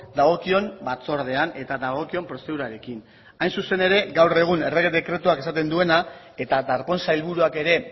dagokion batzordean eta dagokion prozedurarekin hain zuzen ere gaur egun errege dekretuak esaten duena eta darpón sailburuak ere